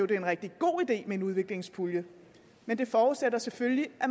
det er en rigtig god idé med en udviklingspulje men det forudsætter selvfølgelig at